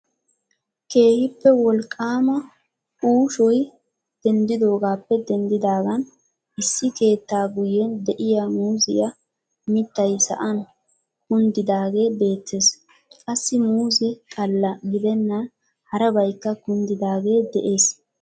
Keehippe wolqaama uushshoy denddoogappe denddidaagan issi keettaa guyyen diyaa muuzziyaa mittay sa'an kunddiidagee beettees. qassi muuzze xalla gidenan harabaykka kunddidaage de'ees.